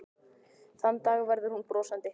Og þann dag verður hún brosandi.